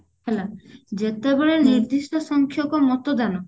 ହେଲା ଯେତେବେଳେ ନିର୍ଦିଷ୍ଟ ସଂଖ୍ୟକ ମତଦାନ